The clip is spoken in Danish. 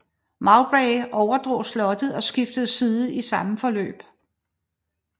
Mowbray overdrog slottet og skiftede side i samme forløb